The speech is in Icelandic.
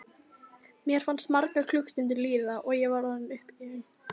Mér fannst margar klukkustundir líða og ég var orðin uppgefin.